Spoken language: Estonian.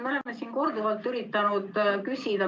Me oleme siin korduvalt seda üritanud küsida.